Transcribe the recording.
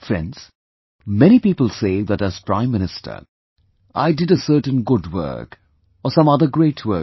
Friends, many people say that as Prime Minister I did a certain good work, or some other great work